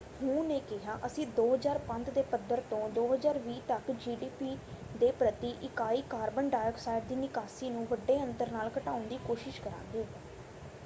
ਹੂ ਨੇ ਕਿਹਾ ਅਸੀਂ 2005 ਦੇ ਪੱਧਰ ਤੋਂ 2020 ਤੱਕ ਜੀਡੀਪੀ ਦੇ ਪ੍ਰਤੀ ਇਕਾਈ ਕਾਰਬਨ ਡਾਈਆਕਸਾਈਡ ਦੀ ਨਿਕਾਸੀ ਨੂੰ ਵੱਡੇ ਅੰਤਰ ਨਾਲ ਘਟਾਉਣ ਦੀ ਕੋਸ਼ਿਸ਼ ਕਰਾਂਗੇ।